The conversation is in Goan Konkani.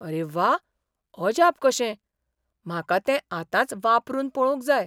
अरे व्वा, अजाप कशें ! म्हाका तेंआतांच वापरून पळोवंक जाय.